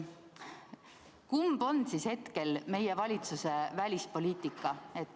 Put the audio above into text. Kumb on siis hetkel meie valitsuse välispoliitika?